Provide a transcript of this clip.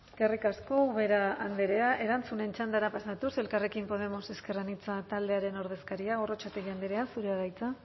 eskerrik asko ubera andrea erantzunen txandara pasatuz elkarrekin podemos ezker anitza taldearen ordezkaria gorrotxategi andrea zurea da hitza